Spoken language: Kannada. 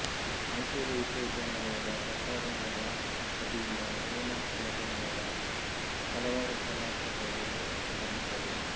ಮೈಸೂರು ವಿಶ್ವವಿದ್ಯಾನಿಲಯದ ಪ್ರಸಾರಾಂಗದ ವತಿಯಿಂದ ಹೇಮಂತ ಕುಲಕರ್ಣಿಯವರ ಹಲವಾರು ಉಪನ್ಯಾಸಗಳು ವ್ಯವಸ್ಥಿತಗೊಂಡಿದ್ದವು